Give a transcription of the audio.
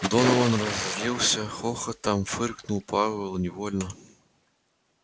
донован разозлился хохотом фыркнул пауэлл невольно